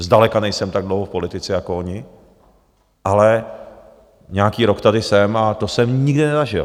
Zdaleka nejsem tak dlouho v politice jako oni, ale nějaký rok tady jsem a to jsem nikdy nezažil.